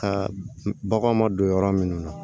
Ka bagan ma don yɔrɔ minnu na